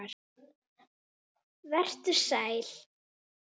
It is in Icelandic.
Vertu sæll.